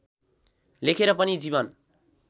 लेखेर पनि जीवन